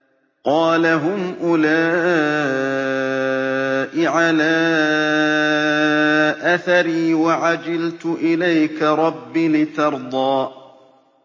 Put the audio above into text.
قَالَ هُمْ أُولَاءِ عَلَىٰ أَثَرِي وَعَجِلْتُ إِلَيْكَ رَبِّ لِتَرْضَىٰ